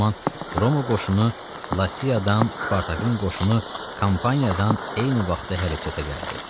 Bu zaman Roma qoşunu Latiyadan, Spartakın qoşunu Kampaniyadan eyni vaxtda hərəkətə gəldi.